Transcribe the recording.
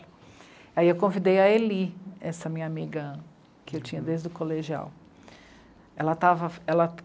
Aí eu convidei a Eli, essa minha amiga que eu tinha desde o colegial. Ela estava, ela...